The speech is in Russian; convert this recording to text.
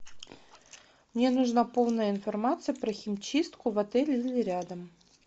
мне нужна полная информация про химчистку в отеле или рядом